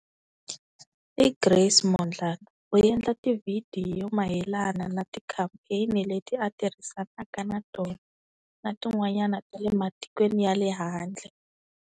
I Grace Mondlane u endla tivhidiyo mayelana na tikhampeni leti a tirhisanaka na tona na tin'wanyana ta le matikweni ya le handle.